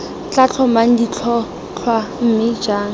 tla tlhomang ditlhotlhwa mme jang